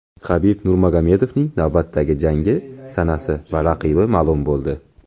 Habib Nurmagomedovning navbatdagi jangi sanasi va raqibi ma’lum bo‘ldi.